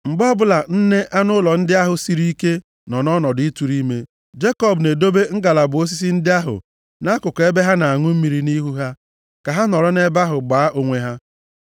Mgbe ọbụla nne anụ ụlọ ndị ahụ siri ike nọ nʼọnọdụ ịtụrụ ime, Jekọb na-edobe ngalaba osisi ndị ahụ nʼakụkụ ebe ha na-aṅụ mmiri nʼihu ha, ka ha nọrọ nʼebe ahụ gbaa onwe ha.